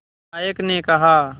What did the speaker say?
नायक ने कहा